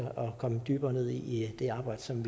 komme dybere ned i i det arbejde som